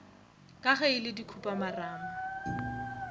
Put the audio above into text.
ka ge e le dikhupamarama